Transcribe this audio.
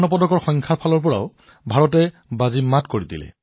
স্বৰ্ণ পদকৰ সংখ্যাৰ ক্ষেত্ৰতো ভাৰত সফল